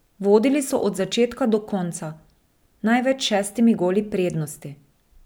Vodili so od začetka do konca, največ s šestimi goli prednosti.